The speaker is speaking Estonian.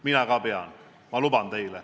Mina ka pean.